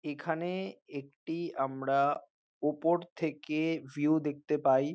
এখানে একটি আমরা উপর থেকে ভিউ দেখতে পাই।